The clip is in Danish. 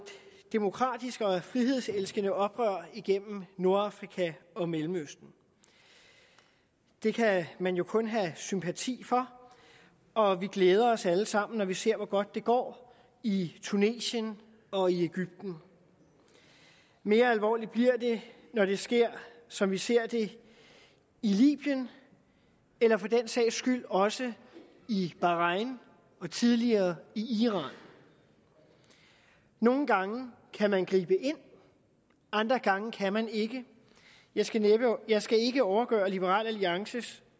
demokratiske og frihedselskende oprør igennem nordafrika og mellemøsten det kan man jo kun have sympati for og vi glæder os alle sammen når vi ser hvor godt det går i tunesien og i egypten mere alvorligt bliver det når det sker som vi ser det i libyen eller for den sags skyld også i bahrain og tidligere i iran nogle gange kan man gribe ind og andre gange kan man ikke jeg skal jeg skal ikke overgøre liberal alliances